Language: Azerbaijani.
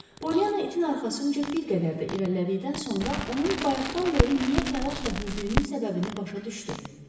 Polyana itin arxasınca bir qədər də irəlilədikdən sonra onun bayaqdan bəri niyə təlaşla hürdüyünün səbəbini başa düşdü.